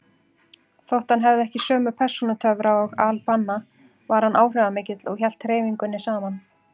Þótt hann hefði ekki sömu persónutöfra og al-Banna var hann áhrifamikill og hélt hreyfingunni saman.